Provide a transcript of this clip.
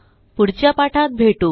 पुढच्या पाठात भेटू